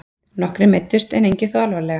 Nokkrir meiddust en engir þó alvarlega